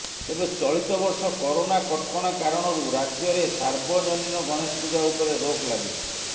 ତେବେ ଚଳିତ ବର୍ଷ କରୋନା କଟକଣା କାରଣରୁ ରାଜ୍ୟରେ ସାର୍ବଜନୀନ ଗଣେଶ ପୂଜା ଉପରେ ରୋକ୍ ଲାଗିଛି